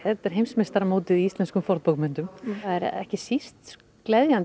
heimsmeistaramótið í íslenskum fornbókmenntum það er ekki síst